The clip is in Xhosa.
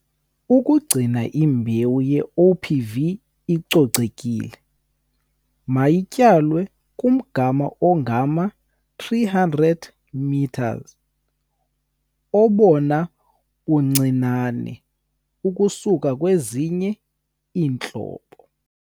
Ukugcina imbewu ye-OPV icocekile, mayityalwe kumgama ongama-300 m obona buncinane ukusuka kwezinye iintlobo.